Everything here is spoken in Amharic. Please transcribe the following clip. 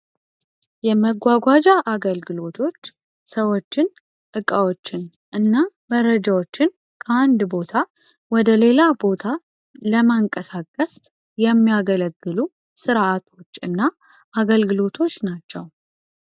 የመጓጓዣ አገልግሎቶች ሰዎችን እቃዎችን እና መረጃዎችን ከ አነድነት ቦታ ወደ ሌላ ቦታ ለማንቀሳቀስ የሚያገለግሉ ስርአቶች እና አገልግለቶች ናቸ።